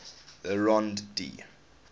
le rond d